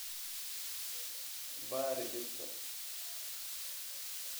"Baari dhirta.